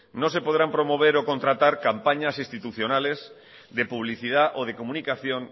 no se podrán promover o contratar campañas institucionales de publicidad o de comunicación